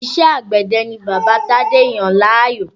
Iṣẹ́ àgbẹ̀dẹ ni bàbá Tádé yàn láàyò